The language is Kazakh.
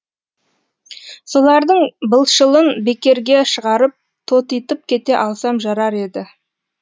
солардың былшылын бекерге шығарып тотитып кете алсам жарар еді